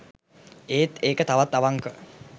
ඒත් ඒක තවත් අවංක